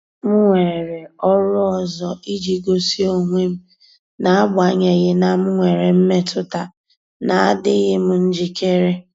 M weere ọrụ ọzọ iji gosi onwe m, n'agbanyeghị na m nwere mmetụta na adịghị m njikere.